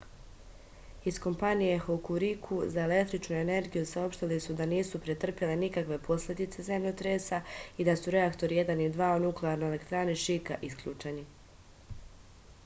iz kompanije hokuriku za električnu energiju saopštili su da nisu pretrpeli nikakve posledice zemljotresa i da su reaktori 1 i 2 u nuklearnoj elektrani šika isključeni